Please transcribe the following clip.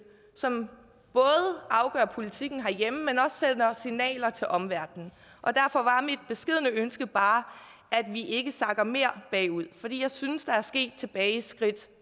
som både afgør politikken herhjemme men også sender signaler til omverdenen og derfor var mit beskedne ønske bare at vi ikke sakker mere bagud for jeg synes der er sket tilbageskridt